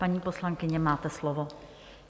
Paní poslankyně, máte slovo.